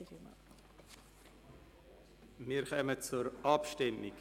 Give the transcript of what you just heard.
Wir kommen zur Abstimmung.